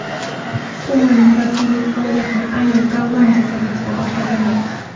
Kuman murabbiylik faoliyatini aynan Gollandiya termasida boshlagandi.